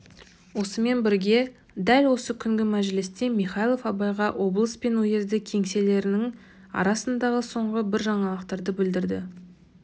осымен бірге дәл осы күнгі мәжілісте михайлов абайға облыс пен уезді кеңселерінің арасындағы соңғы бір жаңалықты білдірді